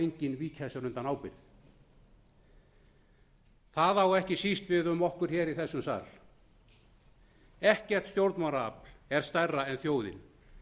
enginn víkja sér undan ábyrgð það á ekki síst við um okkur hér í þessum sal ekkert stjórnmálaafl er stærra en þjóðin